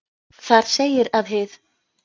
Þar segir að hið